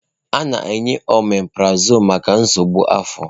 A na-enye ọmeprazọlụ maka nsogbu afọ.